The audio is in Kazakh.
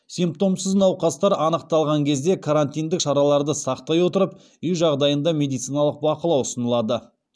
симптомсыз науқастар анықталған кезде карантиндік шараларды сақтай отырып үй жағдайында медициналық бақылау ұсынылады